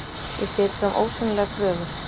Ég set fram ósýnilegar kröfur.